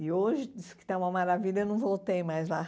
E hoje, disse que está uma maravilha, eu não voltei mais lá.